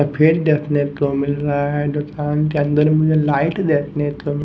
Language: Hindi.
भीड़ देखने को मिल रहा है दुकान के अंदर में लाइट देखने को--